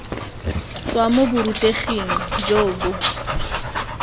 tswa mo boruteging jo bo